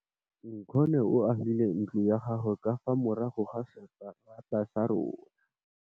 Nkgonne o agile ntlo ya gagwe ka fa morago ga seterata sa rona.